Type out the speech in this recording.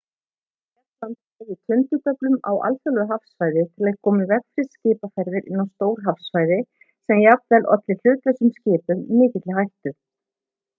bretland dreifði tundurduflum á alþjóðlegu hafsvæði til að koma í veg fyrir skipaferðir inn á stór hafsvæði sem olli jafnvel hlutlausum skipum mikilli hættu